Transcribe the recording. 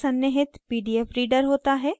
इसमें एक सन्निहित pdf reader होता है